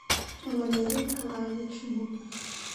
валерий николаевич мутных